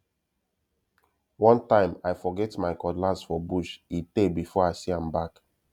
one time i forget my cutlass for bush e tey before i see am back